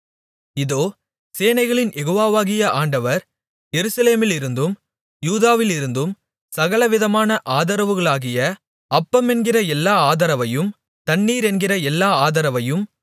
இதோ சேனைகளின் யெகோவாவாகிய ஆண்டவர் எருசலேமிலிருந்தும் யூதாவிலிருந்தும் சகலவிதமான ஆதரவுகளாகிய அப்பமென்கிற எல்லா ஆதரவையும் தண்ணீரென்கிற எல்லா ஆதரவையும்